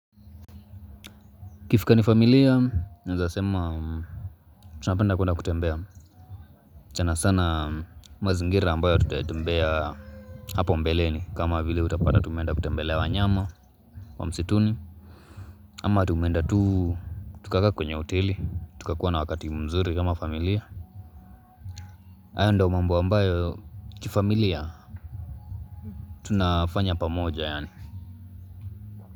Ikifika ni familia, naezasema tunapenda kuenda kutembea. Sana sana mazingira ambayo hatujatembea hapa mbeleni kama vile utapata tumeenda kutembelea wanyama wa msituni. Ama tumeenda tu, tukakaa kwenye hoteli, tukakuwa na wakati mzuri kama familia. Hayo ndio mambo ambayo kifamilia, tunafanya pamoja yaani.